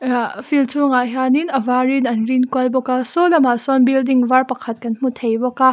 ah field chhungah hian in a var in an rin kual bawk a saw lamah sawn building var pakhat kan hmu thei bawk a.